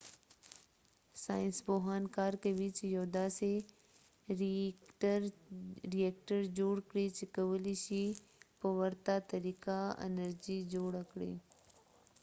ساینس پوهان کار کوي چې یو داسې رییکټر جوړ کړي چې کولی شي په ورته طريقه انرژي جوړه کړي